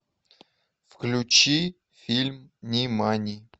включи фильм нимани